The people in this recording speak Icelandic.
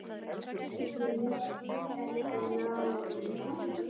Getur þú lýst þessu nánar?